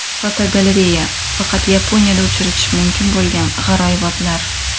Fotogalereya: Faqat Yaponiyada uchratish bo‘lgan g‘aroyibotlar.